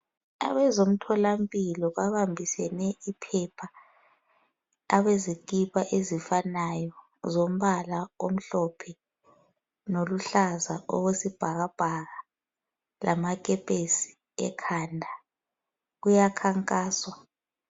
Abazemtholampilo babambisene iphepha, abezikipa ezifananayo zombala omhlophe loluhlaza akwesibhakabhaka, lamakepesi ekhanda ,kuyakhankaswa.